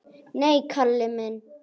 Nei, Kalli minn.